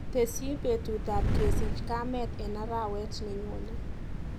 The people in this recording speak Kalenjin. Tesyi betutap kesich kamet eng arawet nenyone.